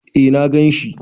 Eh na gan shi.